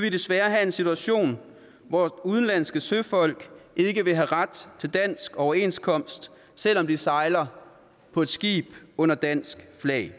vi desværre have en situation hvor udenlandske søfolk ikke vil have ret til dansk overenskomst selv om de sejler på et skib under dansk flag